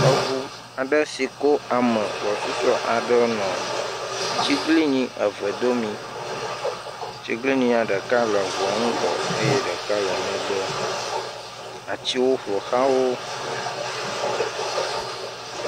Eŋu aɖe si ko ame gbɔsusu aɖewo nɔ tsiglinyi eve aɖewo nyim. Atsiglinyia ɖeka le eŋua ŋgɔ eye ɖek ale megbe. Atsiwo ƒoxla wo.